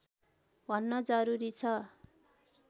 भन्न जरुरी छ